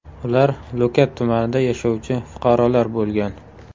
Ular Lo‘kat tumanida yashovchi fuqarolar bo‘lgan.